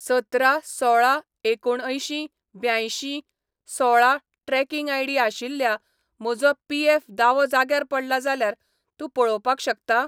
सतरा सोळा एकुणअंयशीं ब्यांयशीं सोळा ट्रॅकिंग आयडी आशिल्ल्या म्हजो पीएफ दावो जाग्यार पडला जाल्यार तूं पळोवपाक शकता?